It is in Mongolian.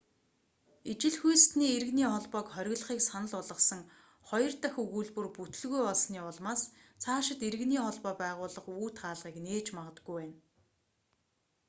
ижил хүйстэний иргэний холбоог хориглохыг санал болгосон хоёр дахь өгүүлбэр бүтэлгүй болсоны улмаас цаашид иргэний холбоо байгуулах үүд хаалгыг нээж магадгүй байна